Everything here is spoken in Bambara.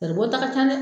Garibɔta ka ca dɛ